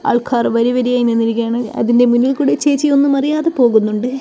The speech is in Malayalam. ആൾക്കാർ വരിവരിയായി നിന്നിരിക്കുകയാണ് അതിന്റെ മുന്നിൽ കൂടി ചേച്ചി ഒന്നുമറിയാതെ പോകുന്നുണ്ട്.